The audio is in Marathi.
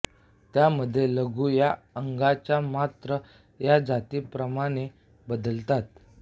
त्या मध्ये लघु या अंगाच्या मात्रा या जातीप्रमाणे बदलतात